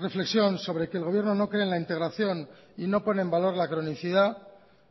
reflexión sobre que el gobierno no cree en la integración y no pone en valor la cronicidad